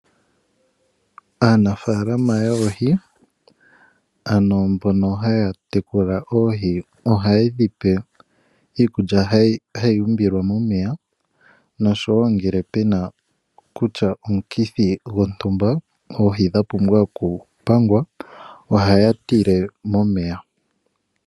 Aanafalama yoohi, ano mbono haya tekula oohi ohaye dhi pe iikulya hayi umbilwa momeya nosho wo ngele pu na kutya omukithi gontumba oohi dha pumbwa okupangwa ohaya tile momeya.